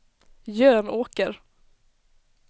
Jönåker